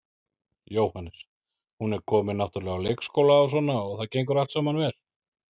Jóhannes: Hún er komin náttúrulega á leikskóla og svona og það gengur allt saman vel?